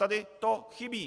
Tady to chybí.